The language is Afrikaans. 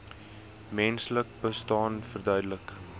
menslike bestaan verduidelik